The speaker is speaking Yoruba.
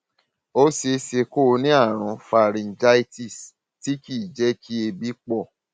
ó ṣe é ṣe kó o ní àrùn pharyngitis tí kì í jẹ kí èébì pọ